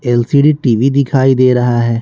LCD TV दिखाई दे रहा है।